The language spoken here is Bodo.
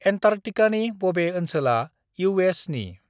एन्टार्कटिकानि बबे ओनसोला ईउ.एस.नि?